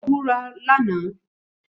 Ó búra lánàá.